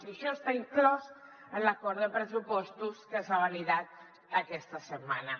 i això està inclòs en l’acord de pressupostos que s’ha validat aquesta setmana